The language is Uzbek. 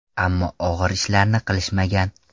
Ammo og‘ir ishlarni qilishmagan.